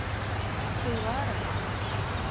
бхилвара